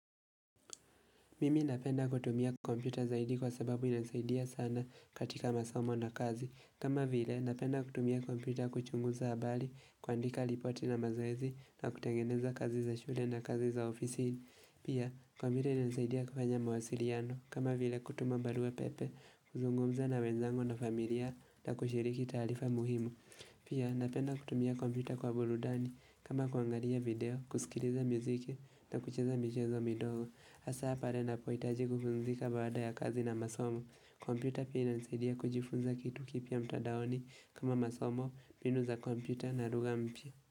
Mimi napenda kutumia kompyuta zaidi kwa sababu inasaidia sana katika masomo na kazi. Kama vile napenda kutumia kompyuta kuchunguza abali, kuandika lipoti na mazoezi na kutengeneza kazi za shule na kazi za ofisi. Pia, kompyuta inasaidia kufanya mawasiriano. Kama vile kutuma barua pepe, kuzungumza na wenzangu na familia, na kushiriki taarifa muhimu. Pia, napenda kutumia kompyuta kwa buludani kama kuangalia video, kusikiliza muziki na kucheza michezo midogo. Asa pare napoitaji kupumzika baada ya kazi na masomo kompyuta pia inanisaidia kujifunza kitu kipya mtadaoni kama masomo, binu za kompyuta na ruga mpya.